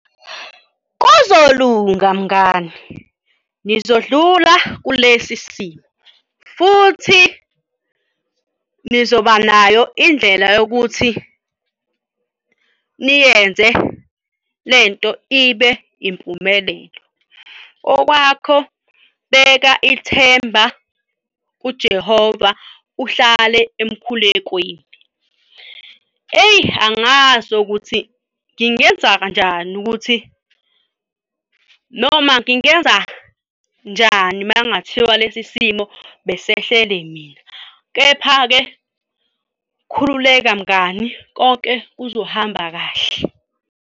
Kuzolunga, mngani. Nizodlula kulesi simo futhi nizoba nayo indlela yokuthi niyenze le nto ibe impumelelo. Okwakho beka ithemba kuJehova uhlale emkhulekweni. Eyi angazi ukuthi ngingenza njani ukuthi noma ngingenza njani, uma kungathiwa lesi simo besehlele mina. Kepha-ke khululeka mngani, konke kuzohamba kahle.